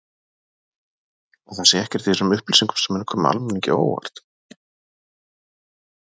Að það sé ekkert í þessum upplýsingum sem muni koma almenningi á óvart?